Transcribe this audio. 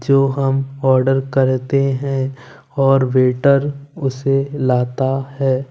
जो हम ऑर्डर करते हैं और वेटर उसे लाता है।